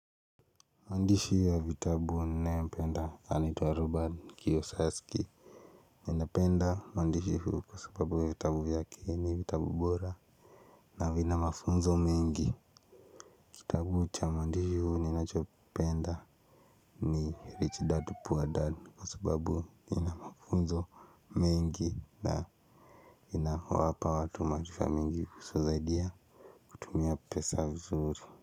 Maandishi ya vitabu ninayopenda anaitwa robert kiosaski ninapenda maandishi huu kwa sababu vitabu vyake ni vitabu bora na vina mafunzo mengi kitabu cha muandishi huu ninachopenda ni rich dad poor dad kwa sababu ina mafunzo mengi na ina wapa watu matifa mingi kusu zaidiya tumia pesa vizuri.